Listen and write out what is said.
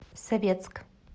советск